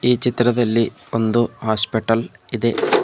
ಈ ಚಿತ್ರದಲ್ಲಿ ಒಂದು ಹಾಸ್ಪಿಟಲ್ ಇದೆ.